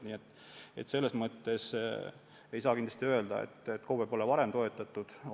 Nii et selles mõttes ei saa kindlasti öelda, et KOV-e pole varem toetatud.